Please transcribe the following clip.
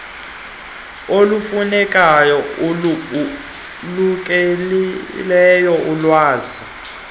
olufunekayo olubalulekileyo olwenza